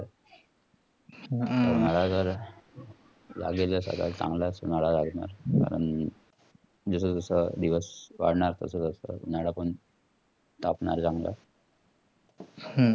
उन्हाला जाला लावलेले चांगलंच उन्हाला लागणार. कारण जसजसं दिवस वाढणार तसतस उन्हाला पण तापणार चांगला